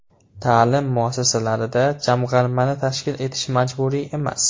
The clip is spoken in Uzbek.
Ta’lim muassasalarida Jamg‘armani tashkil etish majburiy emas.